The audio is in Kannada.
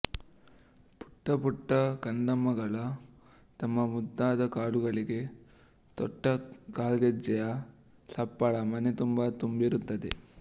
ಪುಟ್ಟ ಪುಟ್ಟ ಕಂದಮ್ಮಗಳು ತಮ್ಮ ಮುದ್ದಾದ ಕಾಲುಗಳಿಗೆ ತೊಟ್ಟ ಕಾಲ್ಗೆಜ್ಜೆಯ ಸಪ್ಪಳ ಮನೆ ತುಂಬಾ ತುಂಬಿರುತ್ತದೆ